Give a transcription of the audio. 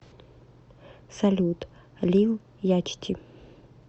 салют лил ячти